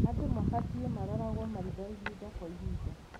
Andũ mabatie maroragwo maitho ihinda kwa ihinda.